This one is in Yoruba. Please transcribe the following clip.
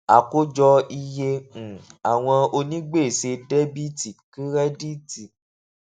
àkójọ iye um àwọn onígbèsè debiti kirediti